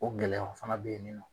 O gɛlɛya o fana beyininɔ.